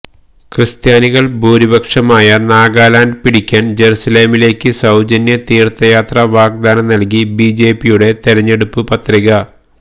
ക്രിസ്ത്യാനികൾ ഭൂരിപക്ഷമായ നാഗാലാന്റ് പിടിക്കാൻ ജറുസലേമിലേക്ക് സൌജന്യ തീർത്ഥയാത്ര വാഗ്ദാനം നൽകി ബിജെപിയുടെ തെരഞ്ഞെടുപ്പ് പത്രിക